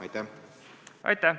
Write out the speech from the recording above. Aitäh!